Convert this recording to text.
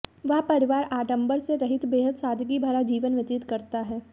वह परिवार आडंबर से रहित बेहद सादगी भरा जीवन व्यतीत करता है